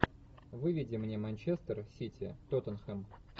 выведи мне манчестер сити тоттенхэм